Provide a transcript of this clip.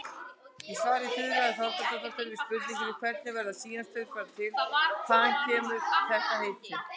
Í svari Þuríðar Þorbjarnardóttur við spurningunni Hvernig verða síamstvíburar til og hvaðan kemur þetta heiti?